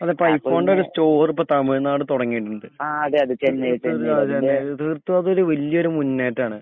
അതിപ്പോ അങ്ങനെ ഐ ഇപ്പൊ ഫോണിന്റെ ഒരു സ്റ്റോർ തമിഴ്നാട് തുടങ്ങിയിട്ടുണ്ട്. ആ അതിന്റെ അതേ അതേ തീർത്തും അതൊരു വലിയ്യൊരു മുന്നേറ്റാണ്.